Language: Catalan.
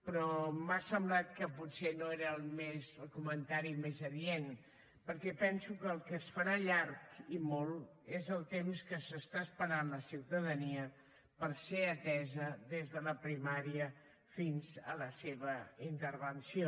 però m’ha semblat que potser no era el comentari més adient perquè penso que el que es farà llarg i molt és el temps que s’està esperant la ciutadania per ser atesa des de la primària fins a la seva intervenció